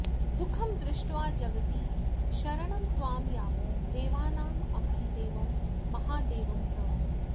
दुःखं दृष्ट्वा जगति शरणं त्वां यामो देवानामपि देवं महादेवं प्रणुमः